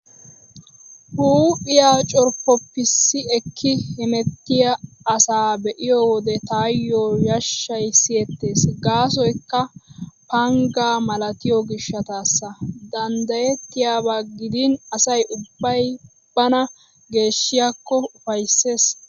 Huuphiyaa corppoppissi ekki hemettiyaa asaa be'iyo wode taayyo yashshay siyettees gaasoykka panggaa malatiyo gishshataassa. Danddayettiyaaba gidin asay ubbay bana geeshshiyaako ufayssees.